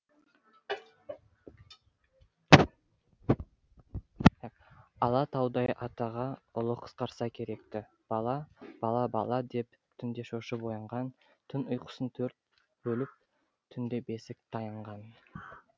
ала таудай атаға ұлы қысқарса керекті бала бала бала деп түнде шошып оянған түн ұйқысын төрт бөліп түнде бесік таянған